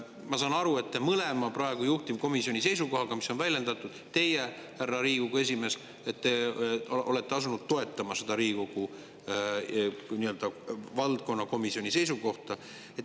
Ma saan aru, et te praegu juhtivkomisjoni mõlemat seisukohta, mida on väljendatud, härra Riigikogu esimees, olete asunud toetama, seda Riigikogu valdkonnakomisjoni seisukohta.